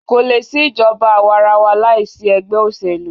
Kò lè sí ìjọba àwàrawa láìsí egbẹ́ òṣèlú.